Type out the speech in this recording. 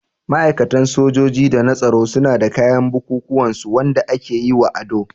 Ma'aikatan sojoji da na tsaro suna da kayan bukukuwan su Wanda aka yi wa ado.